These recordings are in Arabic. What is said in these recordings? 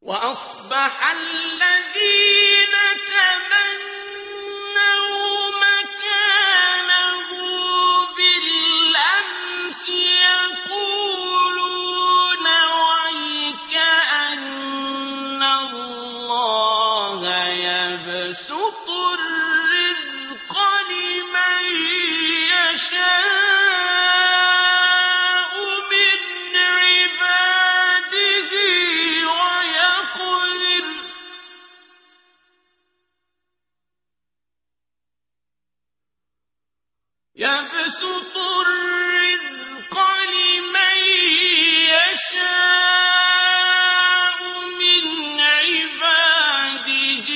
وَأَصْبَحَ الَّذِينَ تَمَنَّوْا مَكَانَهُ بِالْأَمْسِ يَقُولُونَ وَيْكَأَنَّ اللَّهَ يَبْسُطُ الرِّزْقَ لِمَن يَشَاءُ مِنْ عِبَادِهِ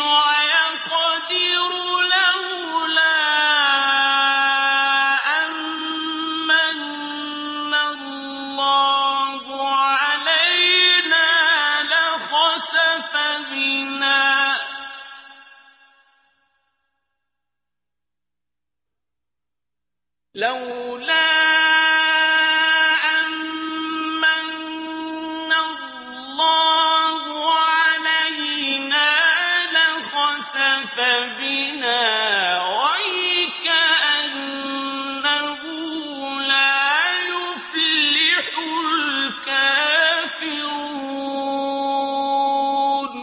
وَيَقْدِرُ ۖ لَوْلَا أَن مَّنَّ اللَّهُ عَلَيْنَا لَخَسَفَ بِنَا ۖ وَيْكَأَنَّهُ لَا يُفْلِحُ الْكَافِرُونَ